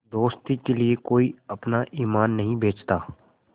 दोस्ती के लिए कोई अपना ईमान नहीं बेचता